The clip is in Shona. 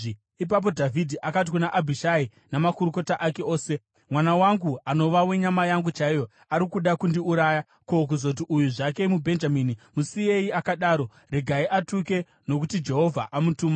Ipapo Dhavhidhi akati kuna Abhishai namakorokota ake ose, “Mwana wangu, anova wenyama yangu chaiyo, ari kuda kundiuraya. Ko, kuzoti uyu zvake, muBhenjamini! Musiyei akadaro; regai atuke, nokuti Jehovha amutuma.